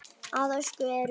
Að auki eru